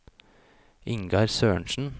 Ingar Sørensen